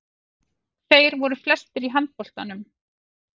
Þeir voru flestir í handboltanum.